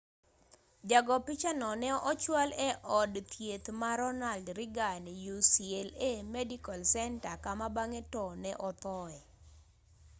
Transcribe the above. ja go picha no ne ochwal e od thieth ma ronald reagan ucla medical center kama bang'e to ne othoe